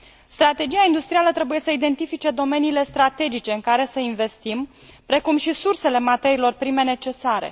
Strategia industrială trebuie să identifice domeniile strategice în care să investim, precum și sursele materiilor prime necesare.